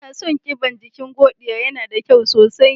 Ina son ƙiban jiƙin Godiya, yana da ƙyau sosai.